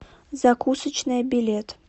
закусочная билет